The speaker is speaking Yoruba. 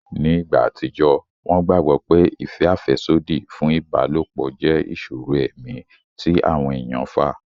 Ni ìgbà àtijọ́, wọ́n gbàgbọ́ pé ìfẹ́ àfẹ́sódì fún ìbálòpọ̀ jẹ́ ìṣòro ẹ̀mí tí àwọn èèyàn fà